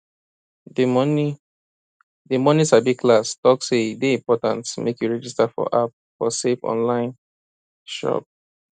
di money di money sabi class talk say e dey important make you register for app for safe online chop